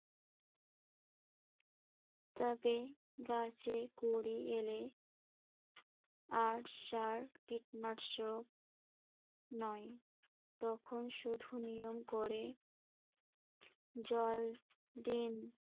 তবে গাছে কুড়ি এলে আর সার কীটনাশক নয় তখন শুধু নিয়ম করে জল দিন।